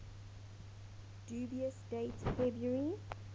dubious date february